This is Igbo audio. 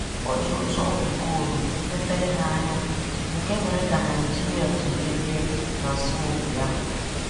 O ji otu ọkpụ goolu mepee há anya nke mèrè kà Nigeria ji merie na asọmpi ahụ.